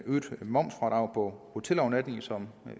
øget momsfradrag hotelovernatninger som